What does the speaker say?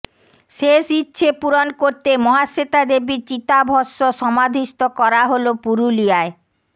শেষ ইচ্ছে পূরণ করতে মহাশ্বেতা দেবীর চিতভষ্ম সমাধিস্থ করা হল পুরুলিয়ায়